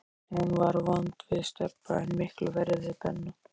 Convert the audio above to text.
Hún var vond við Stebba, en miklu verri við Benna.